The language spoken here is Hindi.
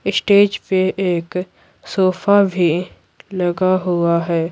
स्टेज पे एक सोफा भी लगा हुआ है।